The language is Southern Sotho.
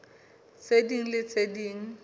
tse ding le tse ding